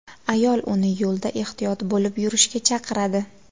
Ayol uni yo‘lda ehtiyot bo‘lib yurishga chaqiradi.